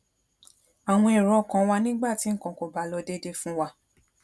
àwọn èrò ọkàn wa nígbà tí nnkan kò bá lọ déédé fún wa